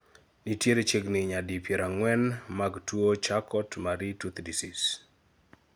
nitiere chiegni nyadi piero ang'uen mag tuo Charcot Marie Tooth Disease